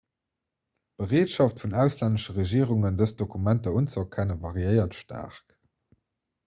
d'bereetschaft vun auslännesche regierungen dës dokumenter unzeerkennen variéiert staark